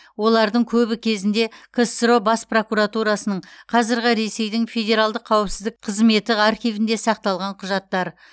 олардың көбі кезінде ксро бас прокуратурасының қазіргі ресейдің федералдық қауіпсіздік қызметі архивінде сақталған құжаттар